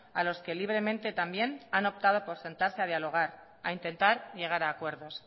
a los que libremente también han optado por sentarse a dialogar a intentar llegar a acuerdos